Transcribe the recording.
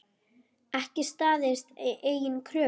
Ekki staðist eigin kröfur.